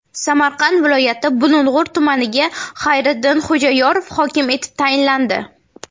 Samarqand viloyati Bulung‘ur tumaniga Xayriddin Xo‘jayorov hokim etib tayinlandi.